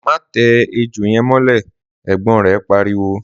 Má tẹ ejò yẹn mọ́lẹ̀!' ẹ̀gbọ́n rẹ̀ pariwo